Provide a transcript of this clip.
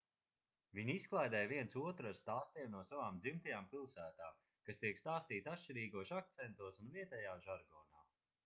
viņi izklaidē viens otru ar stāstiem no savām dzimtajām pilsētām kas tiek stāstīti atšķirīgos akcentos un vietējā žargonā